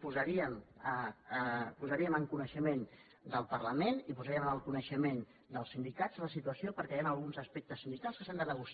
posaríem en coneixement del parlament i posaríem en coneixement dels sindicats la situació perquè hi han alguns aspectes sindicals que s’han de negociar